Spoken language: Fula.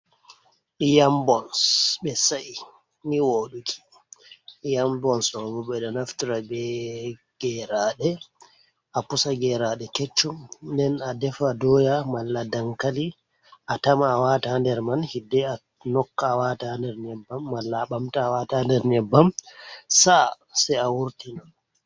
Yambons ɓe sa'ii ni woɗuki, yambons ɗo bo ɓe ɗo naftira be geraɗe, a pusa geraɗe keccum nden a defa doya mala dankali, a tama a wata ha nder man, hidde a nokka wata nder nyebbam mala a ɓamta a wata nder nyebbam sa'a se a wurtini.